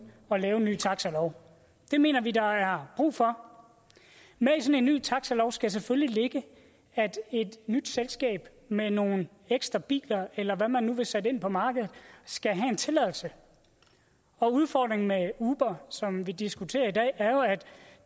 at lave en ny taxalov det mener vi der er brug for i sådan en ny taxalov skal der selvfølgelig ligge at et nyt selskab med nogle ekstra biler eller hvad man nu vil sætte ind på markedet skal have en tilladelse og udfordringen med uber som vi diskuterer i dag er jo at